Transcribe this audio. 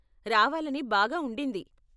రావాలని బాగా ఉండింది.